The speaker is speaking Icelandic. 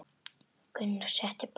Gunnar setti bollana á borðið.